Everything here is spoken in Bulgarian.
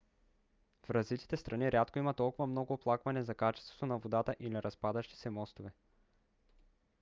в развитите страни рядко има толкова много оплаквания за качеството на водата или разпадащи се мостове